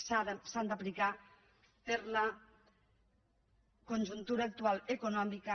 s’han d’aplicar per la conjuntura actual econòmica